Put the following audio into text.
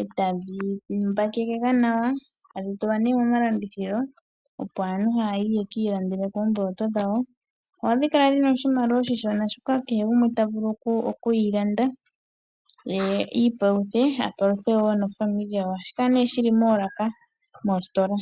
e tashi mbakekekwa nawa e tadhi tulwa neemomalandithilo opo aantu ya ye yekiilandele oomboloto dhawo. Ohadhi kala dhina oshimaliwa oshishona shoka kehe gumwe ta vulu oku yilanda ye i ipaluthe, ye a paluthe woo nofamili ye, ohashi kala nee shili moolaka moositola.